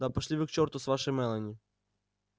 да пошли вы к чёрту с вашей мелани